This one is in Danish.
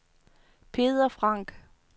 Peder Frank